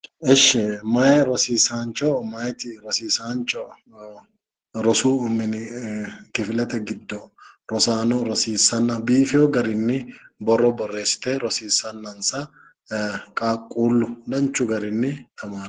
Eshshi meya rosiisaancho meyati rosiisaancho rosu mine kifilete giddo rosaano rosiissanna biifewo garinni borro borreessite rosiissannansa qaaqquullu danchu garinni tamartanno.